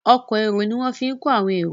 Ọkọ̀ èrò ní wón fí kò àwọn èrò